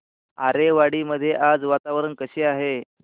आरेवाडी मध्ये आज वातावरण कसे आहे